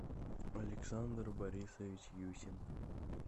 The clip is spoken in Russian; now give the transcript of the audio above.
александр борисович юсин